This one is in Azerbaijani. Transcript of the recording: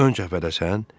Ön cəbhədəsən?